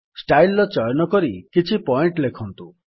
style ର ଚୟନ କରି କିଛି ପଏଣ୍ଟ୍ ଲେଖନ୍ତୁ